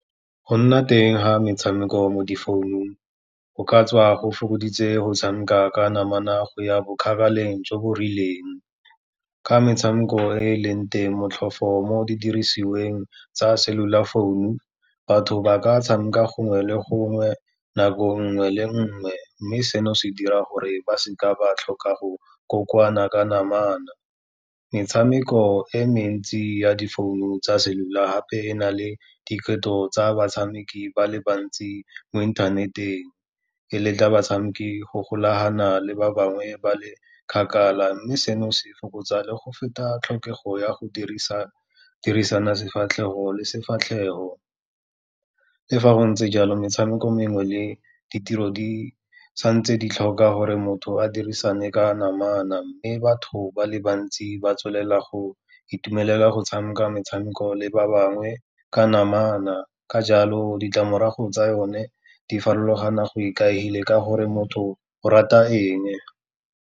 Go nna teng ga metshameko mo di founung, go ka tswa go fokoditse go tshameka ka namana go ya bo kgakaleng jo bo rileng. Ka metshameko e e leng teng, motlhofo mo didirisiweng tsa cellular founu, batho ba ka tshameka gongwe le gongwe, nako nngwe le nngwe, mme seno se dira gore ba seka ba tlhoka go kokoana ka namana. Metshameko e mentsi ya difounu tsa cellular gape e na le diphethogo tsa batshameki ba le bantsi mo inthaneteng, e letla batshameki go golagana le ba bangwe ba le kgakala, mme seno se fokotsa le go feta tlhokego ya go dirisana sefatlhego le sefatlhego. Le fa go ntse jalo, metshameko mengwe le ditiro di santse di tlhoka gore motho a dirisane ka namana, mme batho ba le bantsi ba tswelela go itumelela go tshameka metshameko le ba bangwe ka namana, ka jalo ditlamorago tsa yone di farologana go ikaegile ka gore motho o rata eng.